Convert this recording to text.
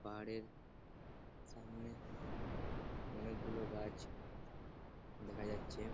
পাহাড়ের সামনে অনেকগুলো গাছ দেখা যাচ্ছে ।